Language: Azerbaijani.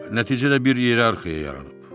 Nəticədə bir ierarxiya yaranıb.